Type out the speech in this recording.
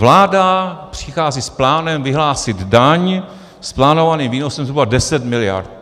Vláda přichází s plánem vyhlásit daň s plánovaným výnosem zhruba 10 miliard.